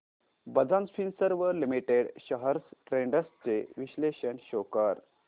Bajaj Finserv limited shares trends चे विश्लेषण show कर